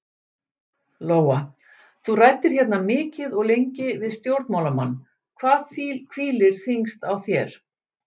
Lóa: Þú ræddir hérna mikið og lengi við stjórnmálamann, hvað hvílir þyngst á þér?